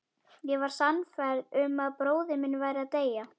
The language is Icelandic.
Ég var sannfærð um að bróðir minn væri að deyja